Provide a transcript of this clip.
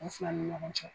U fila ni ɲɔgɔn cɛ